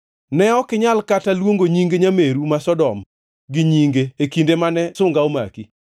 Ne ok inyal kata luongo nying nyameru ma Sodom gi nyinge e kinde mane sunga omaki,